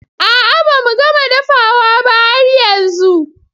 A'a ba mu gama dafawa ba har yanzun.